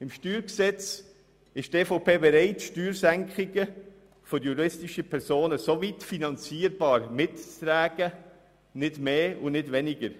Beim StG ist die EVP bereit, Senkungen für die juristischen Personen soweit mitzutragen, wie diese finanzierbar sind, nicht mehr und nicht weniger.